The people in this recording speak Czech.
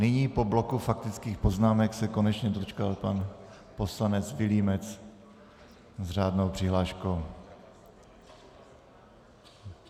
Nyní po bloku faktických poznámek se konečně dočkal pan poslanec Vilímec s řádnou přihláškou.